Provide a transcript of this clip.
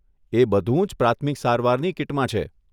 એ બધું જ પ્રાથમિક સારવારની કીટમાં છે.